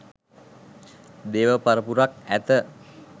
දේව පරපුරක් ඇත